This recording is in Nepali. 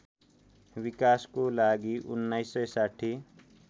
विकासको लागि १९६०